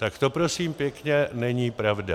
Tak to, prosím pěkně, není pravda.